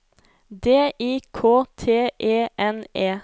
D I K T E N E